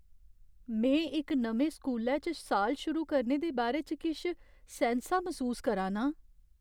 में इक नमें स्कूलै च साल शुरू करने दे बारे च किश सैंसा मसूस करा ना आं।